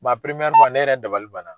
ne yɛrɛ dabali banna .